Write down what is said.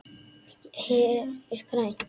Hér er grænt.